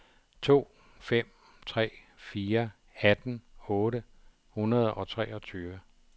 to fem tre fire atten otte hundrede og treogtyve